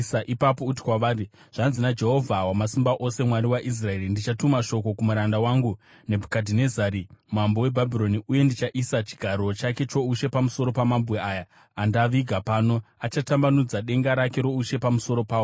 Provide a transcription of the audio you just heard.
Ipapo uti kwavari, ‘Zvanzi naJehovha Wamasimba Ose, Mwari waIsraeri: Ndichatuma shoko kumuranda wangu Nebhukadhinezari mambo weBhabhironi, uye ndichaisa chigaro chake choushe pamusoro pamabwe aya andaviga pano; achatambanudza denga rake roushe pamusoro pawo.